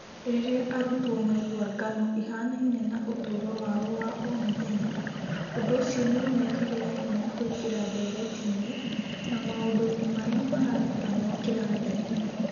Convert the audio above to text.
Rĩrĩa arutwo maigua ng'ano ihanainie na ũtũũro wao wa o mũthenya, ũndũ ũcio nĩ ũmekagĩra hinya kũingĩra ndeereti-inĩ na maũndũ-inĩ marĩa mararutanwo kĩrathi-inĩ.